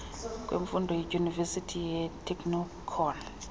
kwemfundo yeedyunivesithi neyeeteknikoni